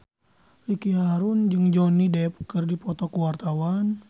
Ricky Harun jeung Johnny Depp keur dipoto ku wartawan